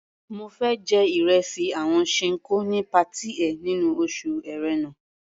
Mo fẹ́ jẹ ìresì àwọn Ṣinkó ní patí ẹ nínú oṣù Ẹ̀rẹnà.